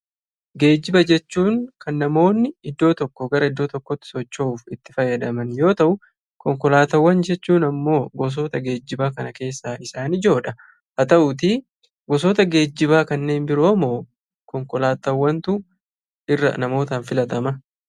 Geejiba jechuun kan namoonni iddoo tokkoo gara iddoo tokkootti socho'uuf itti fayyadaman yoo ta'u; Konkolaataawwan jechuun immoo gosoota geejibaa kana keessaa isaan ijoodha. Haa ta'uutii gosootaa geejibaa kanneen biroomoo konkolaataawwantu irra namootaan filatama?